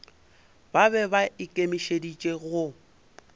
ba be ba ikemišeditše go